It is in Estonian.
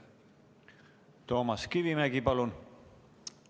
Toomas Kivimägi, palun!